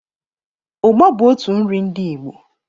ụgba bụ out nri ndi Igbo